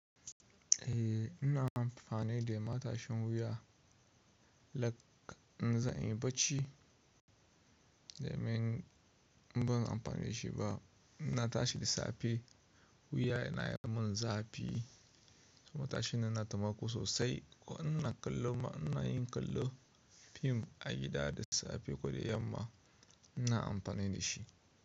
Eh ina amfani da matashin wuya, lak in za a yi barci dai mai ban amfani da shi ba. Ina tashi da safe wuya yana yi mun zafi, kuma tashin yana taimako sosai ko ina kallo ma ina yin kallo fim a gida da safe ko da yamma ina amfani da shi.